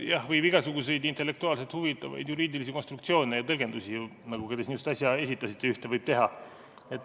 Jah, võib teha igasuguseid intellektuaalselt huvitavaid juriidilisi konstruktsioone ja tõlgendusi, nagu te siin just äsja esitasite.